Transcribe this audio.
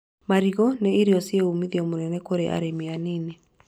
Marigũ nĩ irio ciĩna ũmithio mũnene kũrĩ arĩmi anini